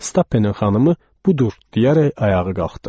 Stappenin xanımı “Budur!” deyərək ayağa qalxdı.